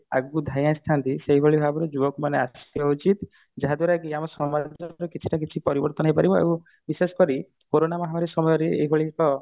ଆଗକୁ ଧାଇଁ ଆସିଥାନ୍ତି ସେଇ ଭଳି ଭାବରେ ଯୁବକ ମାନେ ଯାହା ଦ୍ଵାରା କି ଆମେ କିଛି ନା କିଛି ପରିବର୍ତନ ହେଇପାରିବ ଆଉ ବିଶେଷ କରି କୋରନା ମହାମାରୀ ସମୟରେ ଏଇଭଳି ଏକ